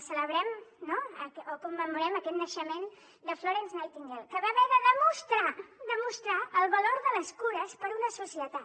celebrem no o commemorem aquest naixement de florence nightingale que va haver de demostrar demostrar el valor de les cures per a una societat